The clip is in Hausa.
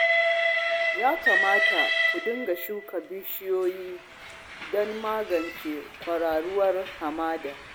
Ya kamata ku dinga shuka bishiyoyi don magance kwararowar hamada